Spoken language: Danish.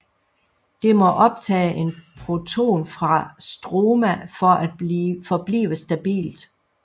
Det må optage en proton fra stroma for at forblive stabilt